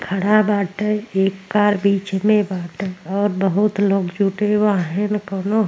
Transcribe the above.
खड़ा बाटे। एक कार बीच में बाटे और बहुत लोग जुटे बाहन कोनो --